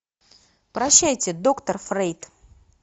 прощайте доктор фрейд